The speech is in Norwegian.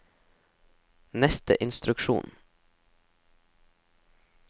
neste instruksjon